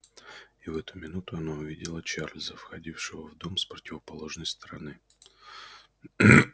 и в эту минуту она увидела чарлза входившего в дом с противоположной стороны